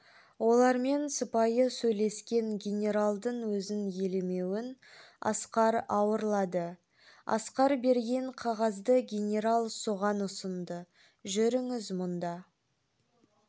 олармен сыпайы сөйлескен генералдың өзін елемеуін асқар ауырлады асқар берген қағазды генерал соған ұсынды жүріңіз мұнда